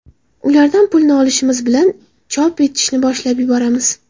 Ulardan pulni olishimiz bilan chop etishni boshlab yuboramiz.